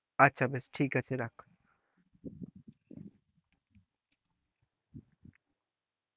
আচ্ছা, বেশ ঠিক আছে রাখ,